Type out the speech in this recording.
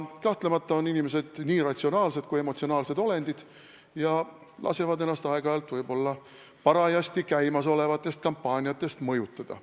Kahtlemata on inimesed nii ratsionaalsed kui ka emotsionaalsed olendid ja lasevad ennast aeg-ajalt võib-olla parajasti käimasolevatest kampaaniatest mõjutada.